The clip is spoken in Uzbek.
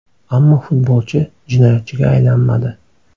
Ammo futbolchi jinoyatchiga aylanmadi.